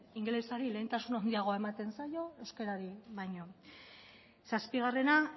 ingelesari lehentasun handiagoa ematen zaio euskerari baino zazpigarrena